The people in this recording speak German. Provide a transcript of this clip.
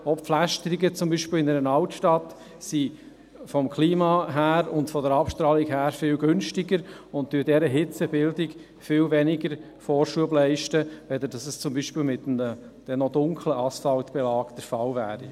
Auch Pflästerungen, zum Beispiel in einer Altstadt, sind vom Klima und der Abstrahlung her viel günstiger und leisten dieser Hitzebildung viel weniger Vorschub als dies zum Beispiel mit einem – dann noch - dunklen Asphaltbelag der Fall wäre.